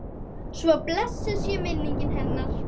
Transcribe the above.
Svo blessuð sé minning hennar.